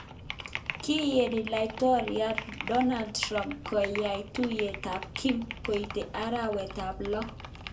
Kigeni laitoryat Donald Trump koyai tuiyet ak Kim koite arawet ab lo